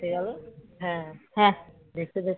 হ্যাঁ হ্যাঁ দেখতে দেখতে